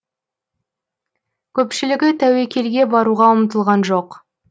көпшілігі тәуекелге баруға ұмтылған жоқ